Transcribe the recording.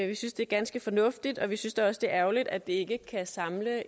vi synes det er ganske fornuftigt og vi synes da også det er ærgerligt at det ikke kan samle